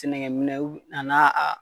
Sɛnɛkɛ u a n'a a